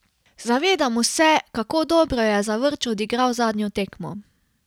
Zavedamo se, kako dobro je Zavrč odigral zadnjo tekmo.